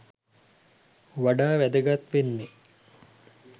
වඩා වැදගත් වෙන්නෙ.